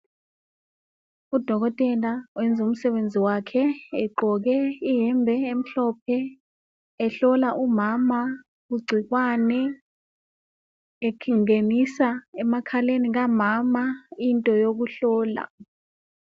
Udokotela uyenza umsebenzi wakhe egqoke iyembe emhlophe ehlola umama igcikwane ,engenisa emakhaleni kamama into yokuhlola.